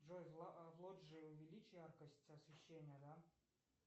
джой в лоджии увеличь яркость освещения да